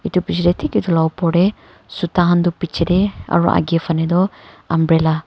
etu pichey deh thik etu la opor deh suta han du pichey deh aro agey phane du umbrella .